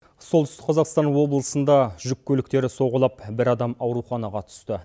солтүстік қазақстан облысында жүккөліктері соғылып бір адам ауруханаға түсті